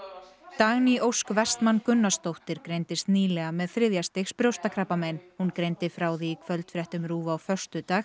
Dagný Ósk Vestmann Gunnarsdóttir greindist nýlega með þriðja stigs brjóstakrabbamein hún greindi frá því í kvöldfréttum RÚV á föstudag